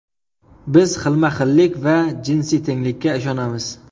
Biz xilma-xillik va jinsiy tenglikka ishonamiz”.